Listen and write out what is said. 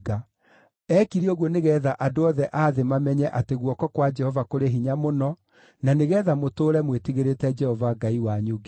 Eekire ũguo nĩgeetha andũ othe a thĩ mamenye atĩ guoko kwa Jehova kũrĩ hinya mũno, na nĩgeetha mũtũũre mwĩtigĩrĩte Jehova Ngai wanyu nginya tene.”